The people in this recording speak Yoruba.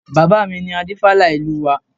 Bàbá mi ni Adífálà ìlú wa